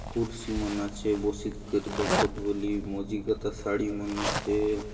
कुर्सी मन आचे बसीत करि दखुत बलि मंझि गता साडी मन आचे।